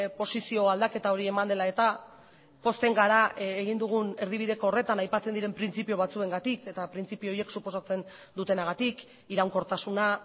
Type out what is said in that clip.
posizio aldaketa hori eman dela eta pozten gara egin dugun erdibideko horretan aipatzen diren printzipio batzuengatik eta printzipio horiek suposatzen dutenagatik iraunkortasuna